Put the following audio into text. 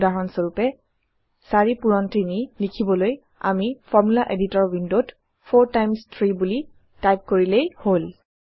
উদাহৰণ স্বৰূপে ৪ পূৰণ ৩ লিখিবলৈ আমি ফৰ্মুলা এডিটৰ ৱিণ্ডত 4 টাইমছ 3 বুলি টাইপ কৰিলেই হল